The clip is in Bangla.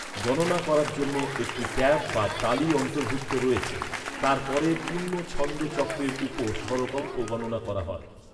গণনা করার জন্য একটি ট্যাপ বা তালি অন্তর্ভুক্ত রয়েছে, তারপরে পূর্ণ ছন্দ চক্রের উপস্বরকম্প গণনা করা হয়।